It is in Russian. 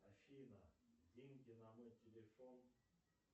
афина деньги на мой телефон